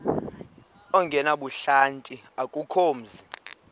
ongenabuhlanti akukho mzi